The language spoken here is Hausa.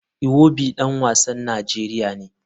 Iwobi dan wasan Najeriya ne.